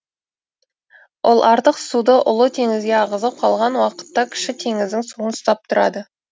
ол артық суды ұлы теңізге ағызып қалған уақытта кіші теңіздің суын ұстап тұрады